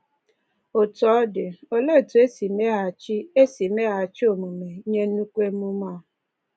Otú ọ dị, olee otú e si meghachi e si meghachi omume nye nnukwu ememe a?